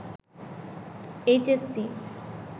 H S C